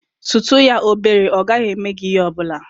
Sutu ya obere, ọ gaghị eme gị ihe ọ bụla.